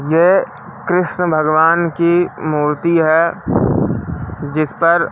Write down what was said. ये कृष्ण भगवान की मूर्ति है जिस पर--